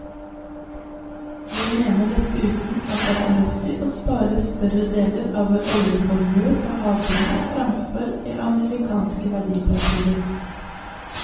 Vi mener dessuten at det er fornuftig å spare større deler av vår oljeformue på havbunnen, framfor i amerikanske verdipapirer.